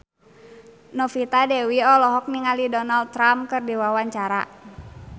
Novita Dewi olohok ningali Donald Trump keur diwawancara